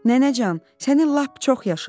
Nənəcan, səni lap çox yaşa.